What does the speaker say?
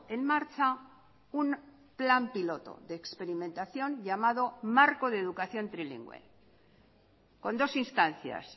en marcha un plan piloto de experimentación llamado marco de educación trilingüe con dos instancias